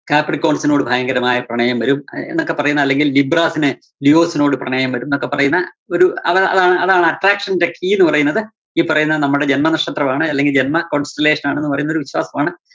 കാപ്രികൊന്‍സിനോട് ഭയങ്കരമായ പ്രണയം വരും. എന്നൊക്കെ പറയുന്ന അല്ലെങ്കില്‍ ഗിബ്രാസിനെ ലിവോസിനോട് പ്രണയം വരൂന്നൊക്കെ പറയുന്ന ഒരു അതാ~അതാ~അതാണ്‌ attraction ന്റെ key ന്ന് പറയുന്നത്, ഈ പറയുന്ന നമ്മടെ ജന്മനക്ഷത്രമാണ് അല്ലെങ്കില്‍ ജന്മ constellation നാണ് എന്നു പറയുന്നൊരു വിശ്വാസമാണ്